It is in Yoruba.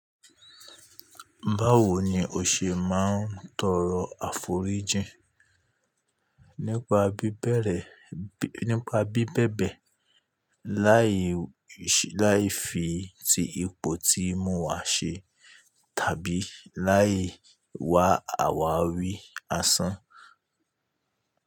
Báwo ni o ṣe máa ń tọrọ àforíjìn? Nípa bí bẹ̀bẹ̀, láì fi ti ipò tí mo wà ṣe tàbí láì wá àwárí asán.